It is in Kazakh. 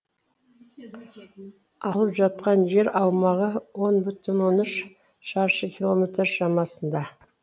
алып жатқан жер аумағы он бүтін он үш шаршы километр шамасында